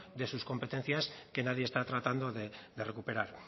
de sus competencias que nadie está tratando de recuperar